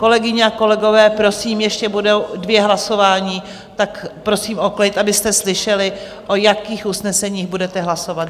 Kolegyně a kolegové, prosím, ještě budou dvě hlasování, tak prosím o klid, abyste slyšeli, o jakých usneseních budete hlasovat.